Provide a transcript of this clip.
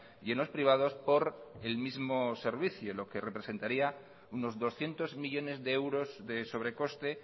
y en los privados por el mismo servicio lo que representaría unos doscientos millónes de euros de sobrecoste